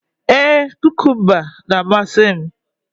Ee, kukumba na-amasị m